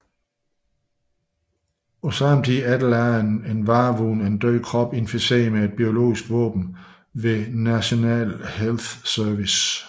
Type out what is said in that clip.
På samme tid efterlader en varevogn en død krop inficeret med et biologisk våben ved National Health Services